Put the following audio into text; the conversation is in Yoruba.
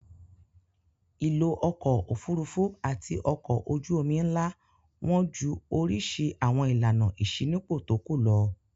Ìlò ọkọ̀-òfurufú àti ọkọ̀ ojú-omi ńlá wọ́n ju oríṣi àwọn ìlànà ìṣínípò tó kù lọ.